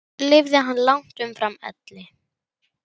Lifði hann langt umfram elli.